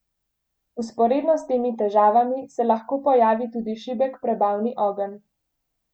Vzporedno s temi težavami se lahko pojavi tudi šibek prebavni ogenj.